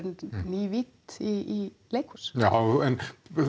ný vídd í leikhús já en